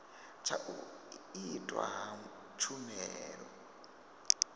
tsha u itwa ha tshumelo